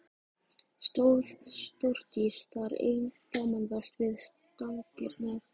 Stóð Þórdís þar ein framanvert við stangirnar.